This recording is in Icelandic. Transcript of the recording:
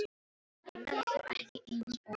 Hann verður þá ekki eins óþolinmóður.